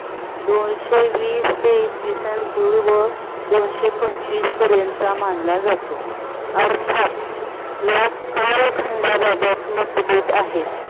दोनशे वीस ते इसवी सन पूर्व दोनशे पंचवीस पर्यंत मानला जातो. अर्थात या कालखंडाबाबत आहेत.